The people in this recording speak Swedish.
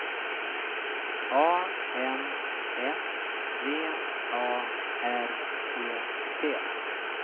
A N S V A R E T